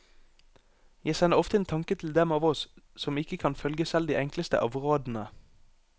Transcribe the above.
Jeg sender ofte en tanke til dem av oss som ikke kan følge selv de enkleste av rådene.